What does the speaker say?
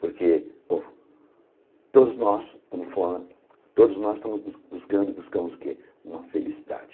Porque o todos nós todos nós estamos bus buscando buscamos o que uma felicidade.